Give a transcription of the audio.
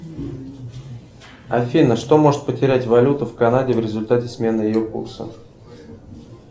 афина что может потерять валюта в канаде в результате смены ее курса